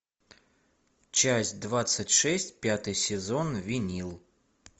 часть двадцать шесть пятый сезон винил